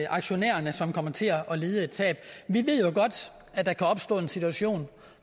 aktionærerne som kommer til at lide et tab vi ved jo godt at der kan opstå en situation